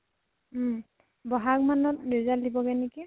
উম বহাগ মানত result দিবগে নেকি।